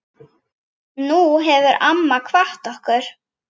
Nú hefur amma kvatt okkur.